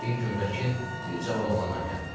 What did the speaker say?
Bir gün vəkil bir cavan oğlanla gəldi.